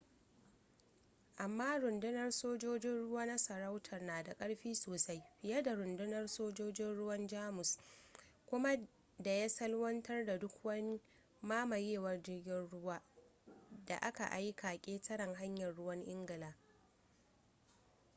amma rundunar sojojin ruwa na sarauta na da ƙarfi sosai fiye da rundunar sojojin ruwan jamus kriegsmarine” kuma da ya salwantar da duk wani mamayewar jirgin ruwan da aka aika ƙetaren hanyar ruwan ingila